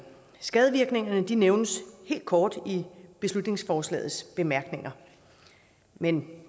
skadevirkningerne nævnes helt kort i beslutningsforslagets bemærkninger men